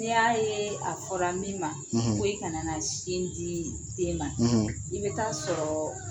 N'i y'a ye a fɔra min ma ko kana sin di den ma i bɛ taa sɔrɔ